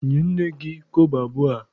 Nye nne gị kobo abụọ a!